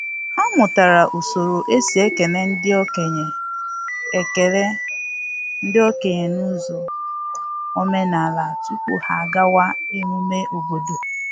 Ha mụtara usoro e si ekele ndị okenye ekele ndị okenye n’ụzọ omenala tupu ha agawa emume obodo.